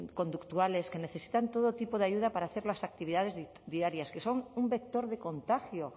conductuales que necesitan todo tipo de ayuda para hacer las actividades diarias que son un vector de contagio